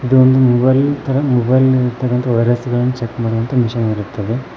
ಇದು ಒಂದು ಮೊಬೈಲ್ ಇನ್ ತರ ವೈರ್ಸ್ ಗಳನ್ನು ಚೆಕ್ ಮಾಡುವ ಒಂದು ಮಿಷನ್ ಇರುತ್ತದೆ.